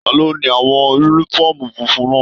Taló ni àwọn yúnífọ̀ọ́mù fúnfún náà?